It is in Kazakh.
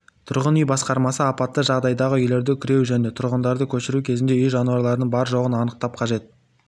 тұрғын үй басқармасы апатты жағдайдағы үйлерді күреу және тұрғындарды көшіру кезінде үй жануарларының бар-жоғын анықтап қажет